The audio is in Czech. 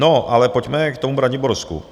No ale pojďme k tomu Braniborsku.